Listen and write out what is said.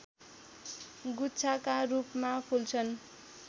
गुच्छाका रूपमा फुल्छन्